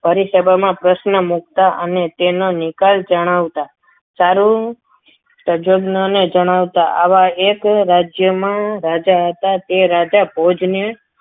ભરી સભામાં પ્રશ્ન મુકતા અને તેનો નિકાલ જણાવતાં સારું તજજ્ઞને જણાવતા આવા એક રાજ્યમાં રાજા હતા તે રાજા ભોજને